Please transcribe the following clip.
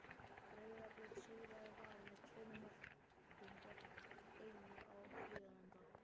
Breiðablik sigraði Val með tveimur mörkum gegn einu á Hlíðarenda.